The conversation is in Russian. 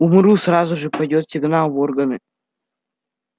умру сразу же пойдёт сигнал в органы